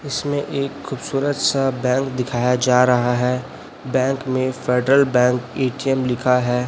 इसमें एक खूबसूरत सा बैंक दिखाया जा रहा है बैंक में फेडरल बैंक ए_टी_एम लिखा है।